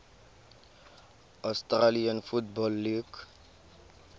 australian football league